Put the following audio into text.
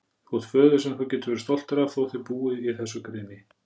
Þú átt föður sem þú getur verið stoltur af, þó þið búið í þessu greni.